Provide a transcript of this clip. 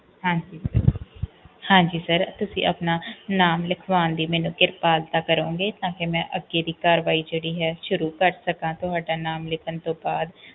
ਹਾਂਜੀ sir ਹਾਂਜੀ ਤੁਸੀਂ ਆਪਣਾ ਨਾਮ ਲਿਖਵਾਣ ਦੀ ਕਿਰਪਾਲਤਾ ਕਰੋਂਗੇ ਤਾਂਕਿ ਮੈਂ ਅੱਗੇ ਦੀ ਕਾਰਵਾਈ ਜਿਹੜੀ ਹੈ ਸ਼ੁਰੂ ਕਰ ਸਕਾ ਤੁਹਾਡਾ ਨਾਮ ਲਿਖਣ ਤੋਂ ਬਾਅਦ